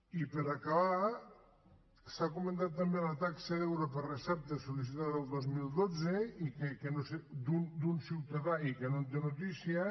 i per acabar s’ha comentat també la taxa d’euro per recepta sol·licitada el dos mil dotze d’un ciutadà i que no en té noticia